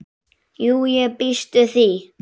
Jú, ég býst við því.